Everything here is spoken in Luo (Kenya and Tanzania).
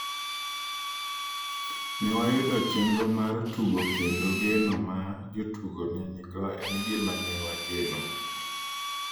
Ne wayudo chenro mar tugo kendo geno ma jotugo ne nigo en gima ne wageno.